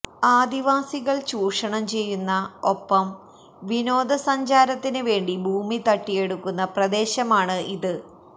ആദിവാസികൾ ചൂഷണം ചെയുന്ന ഒപ്പം വിനോദ സഞ്ചാരത്തിന് വേണ്ടി ഭൂമി തട്ടിയെടുക്കുന്ന പ്രദേശമാണ് ഇത്